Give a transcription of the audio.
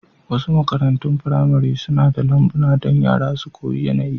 Wasu makarantun firamare suna da lambuna don yara su koyi yanayin.